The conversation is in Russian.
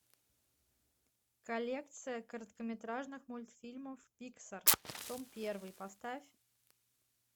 коллекция короткометражных мультфильмов пиксар том первый поставь